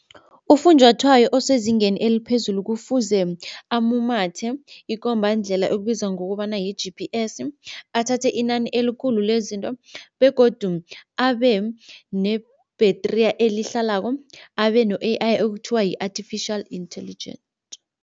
Ufunjwathwayo osezingeni eliphezulu kufuze amumathe ikombandlela ekubizwa ngokobana yi-G_P_S, athathe inani elikhulu lezinto begodu abe ne-battery elihlalako, abe no-A_I okuthiwa yi-Artificial Intelligent.